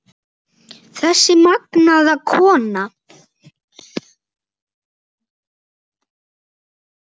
Þessi magnaða kona.